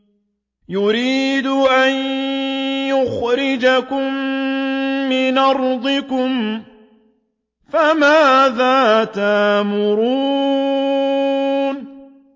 يُرِيدُ أَن يُخْرِجَكُم مِّنْ أَرْضِكُمْ ۖ فَمَاذَا تَأْمُرُونَ